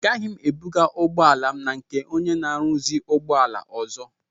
Agaghị m ebuga ụgbọala m na nke ónyé na aruzi ụgbọala ọzọ.